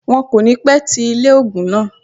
Wọn kò ní pẹ́ ti ilé ògùn náà